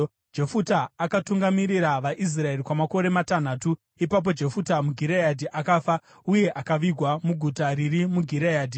Jefuta akatungamirira vaIsraeri kwamakore matanhatu. Ipapo Jefuta muGireadhi akafa, uye akavigwa muguta riri muGireadhi.